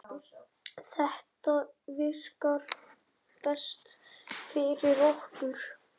Þetta virkar best fyrir okkur.